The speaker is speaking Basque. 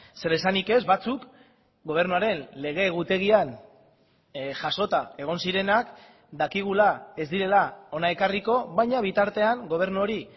zer esanik ez batzuk gobernuaren lege egutegian jasota egon zirenak dakigula ez direla hona ekarriko baina bitartean gobernu hori